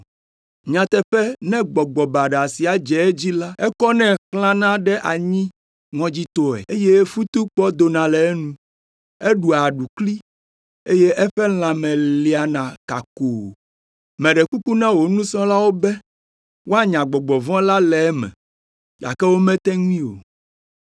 Nyateƒe ne gbɔgbɔ baɖa sia dze edzi la, ekɔnɛ xlãna ɖe anyi ŋɔdzitɔe, eye futukpɔ dona le enu, eɖua aɖukli, eye eƒe lãme liana kakoo. Meɖe kuku na wò nusrɔ̃lawo be woanya gbɔgbɔ vɔ̃ la le eme, gake womete ŋui o.”